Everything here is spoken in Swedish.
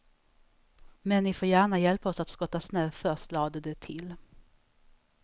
Men ni får gärna hjälpa oss att skotta snö först, lade de till.